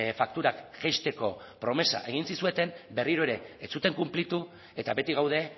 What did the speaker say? fakturak jaisteko promesa egin zizueten berriro ere ez zuten konplitu eta beti gaude